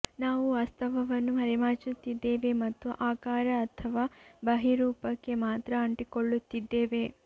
ನಾವು ವಾಸ್ತವವನ್ನು ಮರೆಮಾಚುತ್ತಿದ್ದೇವೆ ಮತ್ತು ಆಕಾರ ಅಥವಾ ಬಹಿರೂಪಕ್ಕೆ ಮಾತ್ರ ಅಂಟಿಕೊಳ್ಳುತ್ತಿದ್ದೇವೆ